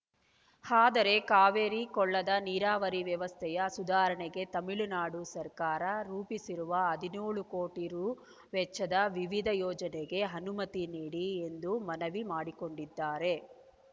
ಆದರೆ ಕಾವೇರಿ ಕೊಳ್ಳದ ನೀರಾವರಿ ವ್ಯವಸ್ಥೆಯ ಸುಧಾರಣೆಗೆ ತಮಿಳುನಾಡು ಸರ್ಕಾರ ರೂಪಿಸಿರುವ ಹದಿನ್ಯೋಳು ಕೋಟಿ ರೂ ವೆಚ್ಚದ ವಿವಿಧ ಯೋಜನೆಗೆ ಅನುಮತಿ ನೀಡಿ ಎಂದು ಮನವಿ ಮಾಡಿಕೊಂಡಿದ್ದಾರೆ